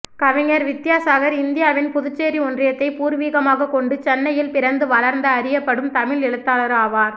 கவிஞர் வித்யாசாகர் இந்தியாவின் புதுச்சேரி ஒன்றியத்தை பூர்வீகமாகக் கொண்டு சென்னையில் பிறந்து வளர்ந்த அறியப்படும் தமிழ் எழுத்தாளர் ஆவார்